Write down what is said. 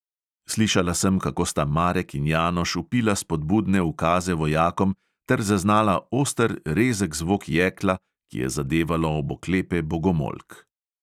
Slišala sem, kako sta marek in janoš vpila spodbudne ukaze vojakom, ter zaznala oster, rezek zvok jekla, ki je zadevalo ob oklepe bogomolk.